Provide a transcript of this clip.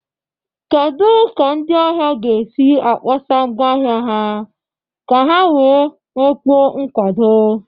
Kedu ka ndị ahịa ga-esi akpọsa ngwa ahịa ha ka ha wee nwekwuo nkwado?